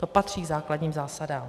To patří k základním zásadám.